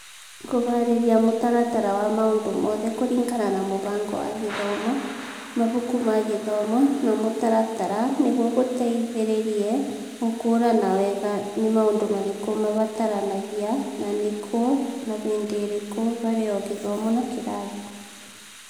Kũhaarĩria mũtaratara wa maũndũ mothe kũringana na mũbango wa gĩthomo, mabuku ma gĩthomo na mũtaratara nĩguo gũteithĩrĩrie gũkũũrana wega nĩ maũndũ marĩkũ mabataranagia na nĩ kũ na hĩndĩ ĩrĩkũ harĩ o gĩthomo na kĩrathi.